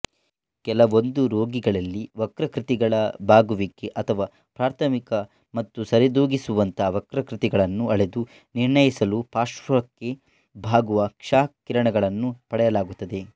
ಕೆಲವೊಂದು ರೋಗಿಗಳಲ್ಲಿ ವಕ್ರಾಕೃತಿಗಳ ಬಾಗುವಿಕೆ ಅಥವಾ ಪ್ರಾಥಮಿಕ ಮತ್ತು ಸರಿದೂಗಿಸುವಂಥ ವಕ್ರಾಕೃತಿಗಳನ್ನು ಅಳೆದು ನಿರ್ಣಯಿಸಲು ಪಾರ್ಶ್ವಕ್ಕೆ ಬಾಗುವ ಕ್ಷಕಿರಣಗಳನ್ನು ಪಡೆಯಲಾಗುತ್ತದೆ